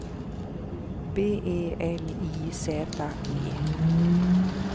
B E L I Z E